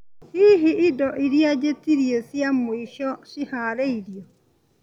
hihi indo iria njĩtirie cia mwĩsho ciharĩirio